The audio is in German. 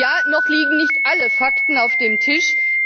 Ja, noch liegen nicht alle Fakten auf dem Tisch.